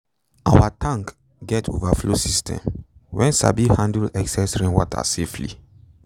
our tank get overflow system wen sabi handle excess rainwater safely